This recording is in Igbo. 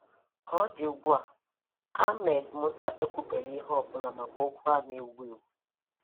Ka ọ dị ugbùa, Ahmed Musa ekwùbèghị ihe ọ̀bụ́la maka okwu a okwu a na-ewù ewu.